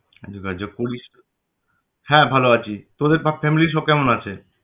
হ্যাঁ ভালো আছি। তোরা সব family র সব কেমন আছে?